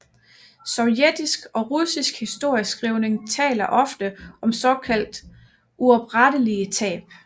Sovjetisk og russisk historieskrivning taler ofte om såkaldt uoprettelige tab